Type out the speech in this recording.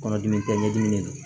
Kɔnɔdimi kɛɲɛ dimi de do